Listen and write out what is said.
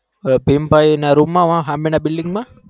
હ પીપાય એના room માં અમેના building માં